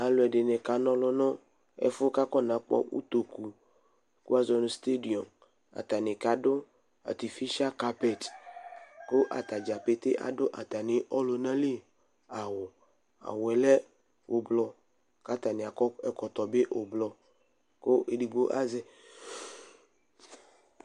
Alu ɛdɩnɩ kanɔlʋ nʋ ɛfʋ yɛ kʋ akɔnakpɔ utoku, kʋ wuazɔ nʋ stediɔmʋ Atani kadu atifisialɩ kapɛtɩ, kʋ atadza pete adu atami ɔlʋnaliawu Awu yɛ lɛ ʋblʋ kʋ atani akɔ ɛkɔtɔ bɩ ʋblʋ